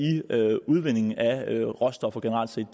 udvinding af råstoffer generelt set og